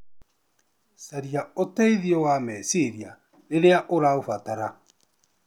Caria ũteithio wa meciria rĩrĩa ũraũbatara